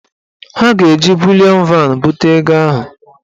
Ha ga-eji bulịọn van bute ego ahụ.